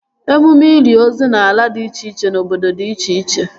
Emume ili ozu n'ala dị iche n' obodo dị iche iche